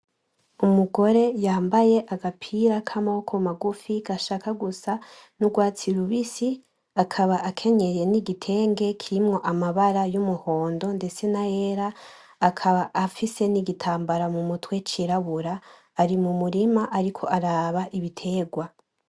Umugore yambaye agapira k'amaboko magufi gashaka gusa n'urwatsi rubisi, akaba akenyeye n'igitenge kirimwo amabara y'umuhondo ndetse n'ayera, akaba afise n'igitambara mu mutwe c'irabura, ari mu murima ariko araba ibitegwa.